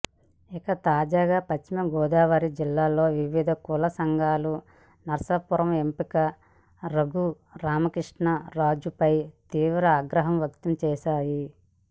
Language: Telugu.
ఇక తాజాగా పశ్చిమగోదావరి జిల్లాలోని వివిధ కుల సంఘాలు నర్సాపురం ఎంపీ రఘురామకృష్ణంరాజుపై తీవ్ర ఆగ్రహం వ్యక్తం చేశాయి